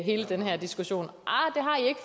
hele den her diskussion